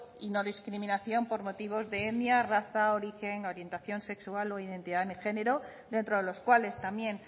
y no discriminación por motivos de etnia raza origen orientación sexual o identidad de género dentro de los cuales también